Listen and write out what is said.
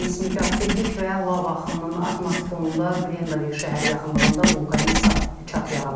İki seysmik aktivlik və lava axınının artması fonunda Grendavik şəhəri yaxınlığında vulkanik çat yaranıb.